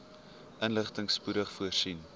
inligting spoedig voorsien